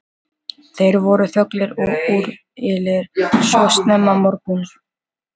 Þeir voru þöglir og úrillir svo snemma morguns.